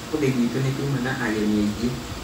ũmũthĩ gwitũ nĩtuma na ageni aingĩ